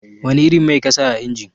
Wani irin mai kasa a injin?